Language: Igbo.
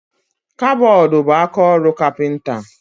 Kabọọdụ bu akaọrụ kapinta